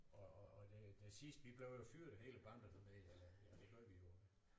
Og og og det det sidste vi blev jo fyret hele banden dernede eller ja det gjorde vi jo